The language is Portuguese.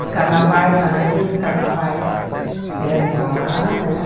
Os carnavais, a maioria dos carnavais eram lá, né?